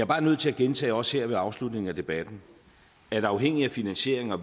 bare nødt til at gentage også her ved afslutningen af debatten at afhængigt af finansiering og